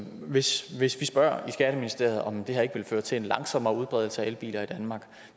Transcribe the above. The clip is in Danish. hvis vi spørger i skatteministeriet om det her ikke vil føre til en langsommere udbredelse af elbiler i danmark